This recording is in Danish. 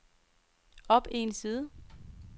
op en side